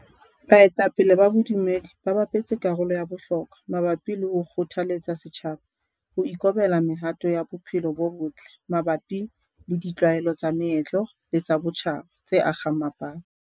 Baetapele ba bodumedi ba bapetse karolo ya bohlokwa mabapi le ho kgothaletsa setjhaba ho ikobela mehato ya bophelo bo botle mabapi le ditlwaelo tsa meetlo le tsa botjhaba tse akgang mapato.